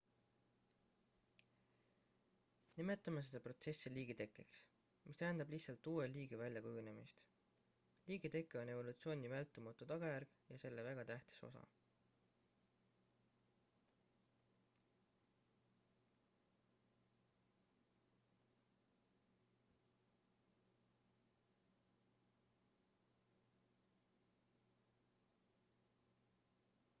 nimetame seda protsessi liigitekkeks mis tähendab lihtsalt uue liigi väljakujunemist liigiteke on evolutsiooni vältimatu tagajärg ja selle väga tähtis osa